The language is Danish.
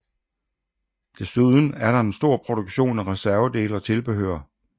Desuden er der en stor produktion af reservedele og tilbehør